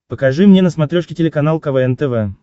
покажи мне на смотрешке телеканал квн тв